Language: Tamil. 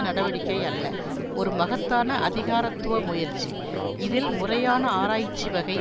நடடிக்கை அல்ல ஒரு மகத்தான அதிகாரத்துவ முயற்சி இதில் முறையான ஆராய்ச்சிவகை